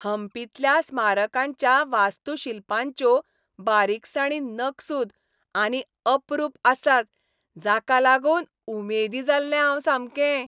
हम्पींतल्या स्मारकांच्या वास्तुशिल्पांच्यो बारिकसाणी नकसूद आनी अपरूप आसात, जाका लागून उमेदी जाल्लें हांव सामकें.